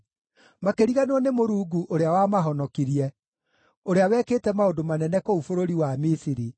Makĩriganĩrwo nĩ Mũrungu ũrĩa wamahonokirie, ũrĩa wekĩte maũndũ manene kũu bũrũri wa Misiri,